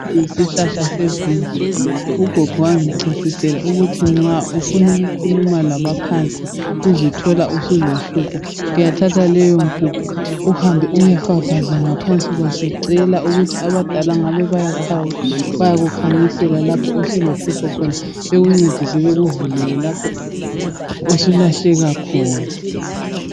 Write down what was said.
Lesi yisihlahla sevimbili. Ugogo wangichasisela ukuthi nxa ufuna ukukhuluma labaphansi uzithola usulohlupho uyathatha leyompuphu uyefafaza ngaphansi kwaso ucela ukuthi abadala ngabe bayakukhanyisela lapho osulohlupho khona bakuncedise bakuvulele lapho osulahleka khona.